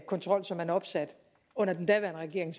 kontrol som man opsatte under den daværende regering